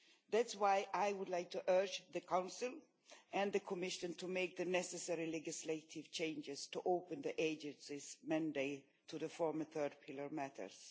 That is why I would like to urge the Council and the Commission to make the necessary legislative changes to open the Agency's mandate to the former third pillar matters.